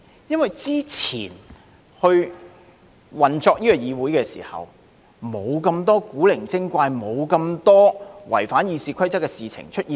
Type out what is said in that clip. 因為之前運作議會時，並無那麼多古靈精怪及違反《議事規則》的事情出現。